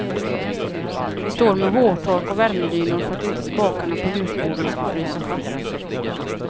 Vi står med hårtork och värmedynor för att inte spakarna på ljusborden ska frysa fast.